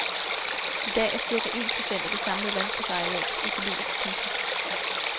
I dag er cirka en procent af det samlede landbrugsareal økologisk. punktum